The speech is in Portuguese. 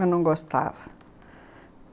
Eu não gostava.